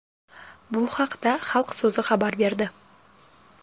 Bu haqda Xalq so‘zi xabar berdi .